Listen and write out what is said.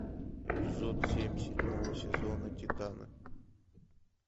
эпизод семь седьмого сезона титаны